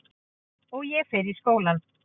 Og ég fer í skólann.